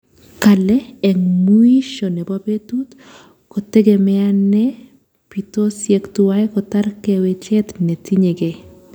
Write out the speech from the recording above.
Kale, eng mwisho nebo betut, ko tegemeane bitosyek tuwai kotar kawechet ne tinyegei